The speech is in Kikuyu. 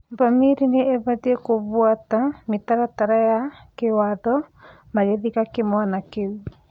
Bamĩrĩ nĩ ĩbatĩĩ kũbũata mĩtaratara ya kĩwatho magĩthika kĩmwana kĩu